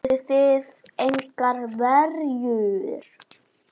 Notuðuð þið engar verjur?